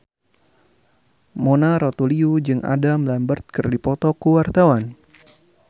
Mona Ratuliu jeung Adam Lambert keur dipoto ku wartawan